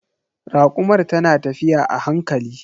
Rakumar ta na tafiya a hankali.